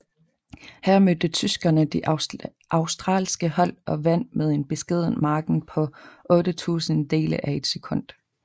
Her mødte tyskerne det australske hold og vandt med en beskeden margen på otte tusindedele af et sekund